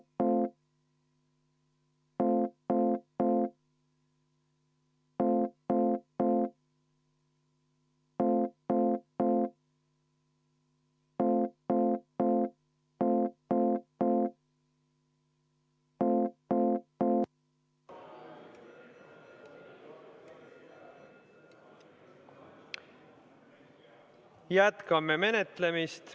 Jätkame menetlemist.